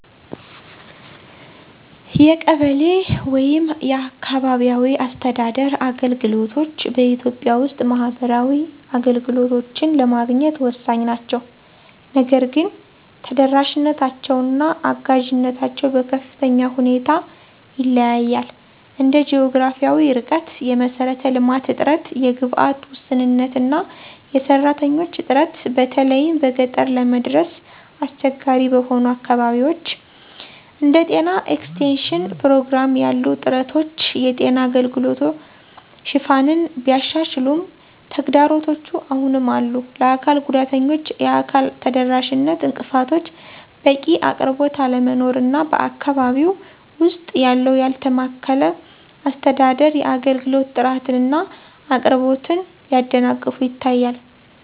የቀበሌ (አካባቢያዊ አስተዳደር) አገልግሎቶች በኢትዮጵያ ውስጥ ማህበራዊ አገልግሎቶችን ለማግኘት ወሳኝ ናቸው። ነገር ግን ተደራሽነታቸው እና አጋዥነታቸው በከፍተኛ ሁኔታ ይለያያል እንደ ጂኦግራፊያዊ ርቀት፣ የመሰረተ ልማት እጥረት፣ የግብዓት ውስንነት እና የሰራተኞች እጥረት በተለይም በገጠር ለመድረስ አስቸጋሪ በሆኑ አካባቢዎች። እንደ ጤና ኤክስቴንሽን ፕሮግራም ያሉ ጥረቶች የጤና አገልግሎት ሽፋንን ቢያሻሽሉም ተግዳሮቶች አሁንም አሉ፣ ለአካል ጉዳተኞች የአካል ተደራሽነት እንቅፋቶች፣ በቂ አቅርቦት አለመኖር እና በአካባቢው ውስጥ ያለው ያልተማከለ አስተዳደር የአገልግሎት ጥራትን እና አቅርቦትን ሲያደናቅፉ ይታያሉ።